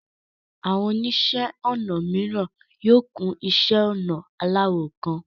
Àwọn oníṣẹ́ ọnà mìíràn yóò kún iṣẹ́ ọnà aláwọ̀ kan.